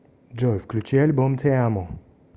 джой включи альбом ти амо